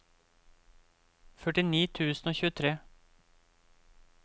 førtini tusen og tjuetre